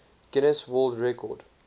guinness world record